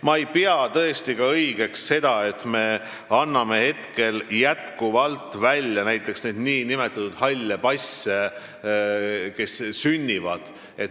Ma ei pea õigeks seda, et me anname jätkuvalt nn halle passe neile lastele, kes sünnivad.